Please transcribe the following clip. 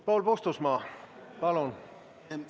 Paul Puustusmaa, palun!